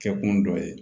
Kɛkun dɔ ye